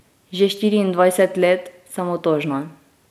Že štiriindvajset let sem otožna.